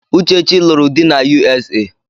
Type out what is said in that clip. Uchechi lụrụ di na U.S.A